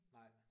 Nej